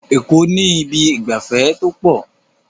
Eko ni Ibi ìgbafẹ́ to po